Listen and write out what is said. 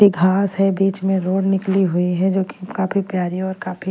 ये घास है बीच में रोड निकली हुई है जो कि काफी प्यारी और काफी --